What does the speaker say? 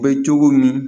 Bɛ cogo min